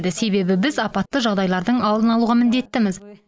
себебі біз апатты жағдайлардың алдын алуға міндеттіміз